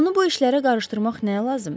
Onu bu işlərə qarışdırmaq nə lazımdır?